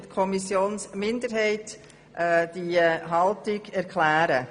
Für die SiK-Minderheit spricht Grossrätin Fuhrer.